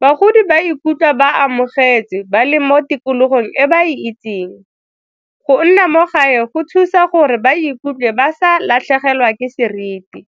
Bagodi ba ikutlwa ba amogetswe ba leng mo tikologong e ba e itseng. Go nna mo gae go thusa gore ba ikutlwe ba sa latlhegelwa ke seriti.